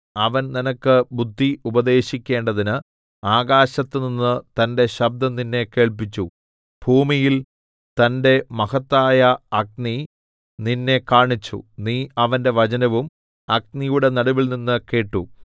അവൻ നിനക്ക് ബുദ്ധി ഉപദേശിക്കേണ്ടതിന് ആകാശത്തുനിന്ന് തന്റെ ശബ്ദം നിന്നെ കേൾപ്പിച്ചു ഭൂമിയിൽ തന്റെ മഹത്തായ അഗ്നി നിന്നെ കാണിച്ചു നീ അവന്റെ വചനവും അഗ്നിയുടെ നടുവിൽനിന്ന് കേട്ടു